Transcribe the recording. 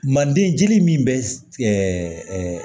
Manden jeli min bɛ